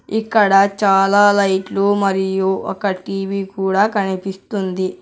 ఇక్కడ చాలా లైట్లు మరియు ఒక టీ_వీ కూడా కనిపిస్తుంది.